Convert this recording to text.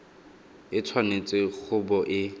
e tshwanetse go bo e